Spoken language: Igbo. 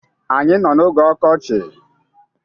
Anyị nọ n'oge ọkọchị.